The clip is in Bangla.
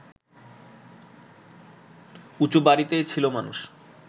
উঁচু বাড়িতেই ছিল মানুষ